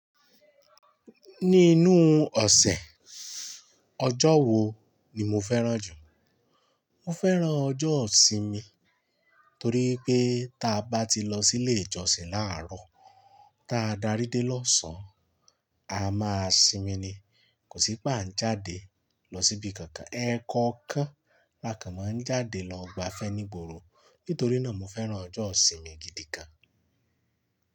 Ní inú ọ̀sẹ̀, ọjọ́ wo ni mo fẹ́ràn jù? Mo fẹ́ràn ọjọ́ ìsinmi torí pé ta bá ti lọ sílé ìjọsìn làárọ̀, ta darí dé lọ́sàn-án, a máa sinmi ni. Kò sí páń jàdé lọ síbi kankan. Ẹ̀ẹ̀kọ̀ọkan lákan mọ ń jáde lọ gbafẹ́ ní ìgboro. Nítorí náà, mo fẹ́ràn ọjọ́ ìsinmi gidi gan.